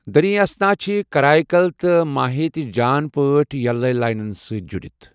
دریں اثنا چھِ کرائی کل تہٕ ماہے تہِ جان پٲٹھۍ یلوے لائنن سٕتۍ جُڑِتھ ۔